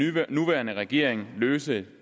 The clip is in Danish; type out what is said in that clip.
nuværende regering løse